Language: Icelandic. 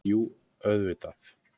Jú auðvitað.